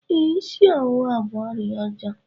Ee, ịsị ọwụwa bụ ọrịa ọjọọ